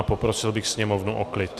A poprosil bych sněmovnu o klid.